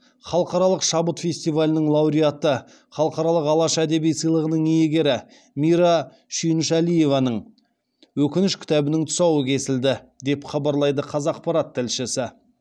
халықаралық шабыт фестивалінің лауреаты халықаралық алаш әдеби сыйлығының иегері мира шүйіншәлиеваның өкініш кітабының тұсауы кесілді деп хабарлайды қазақпарат тілшісі